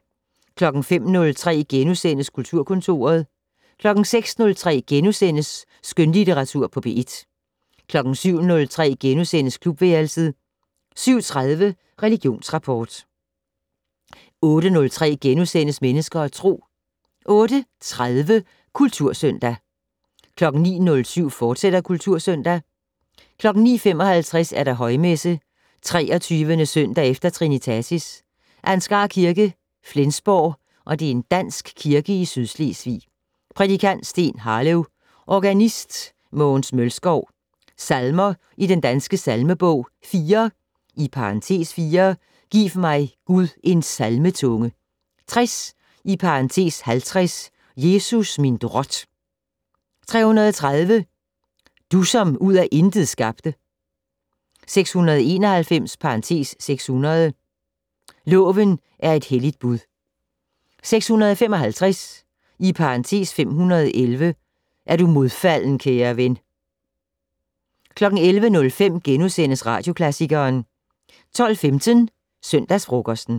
05:03: Kulturkontoret * 06:03: Skønlitteratur på P1 * 07:03: Klubværelset * 07:30: Religionsrapport * 08:03: Mennesker og Tro * 08:30: Kultursøndag 09:07: Kultursøndag, fortsat 09:55: Højmesse - 23. søndag efter trinitatis. Ansgar Kirke, Flensborg (Dansk Kirke i Sydslesvig). Prædikant: Steen Harløv. Organist: Mogens Mølskov. Salmer i Den Danske Salmebog: 4 (4) "Giv mig, Gud, en salmetunge". 60 (50) "Jesus, min drot". 330 "Du som ud af intet skabte". 691 (600) "Loven er et helligt bud". 655 (511) "Er du modfalden, kære ven". 11:05: Radioklassikeren * 12:15: Søndagsfrokosten